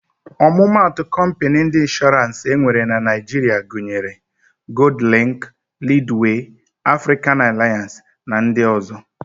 Ọmụmatụ kọmpịnị ndị Ịnshọrans enwere na Naịjiria gunyere: Goldlịnk, Lidwee, Afrịkan Alịans na ndị ọ̀zọ́.